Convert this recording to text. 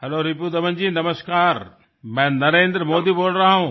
hello Ripudaman ji नमस्कार मैं नरेन्द्र मोदी बोल रहा हूँ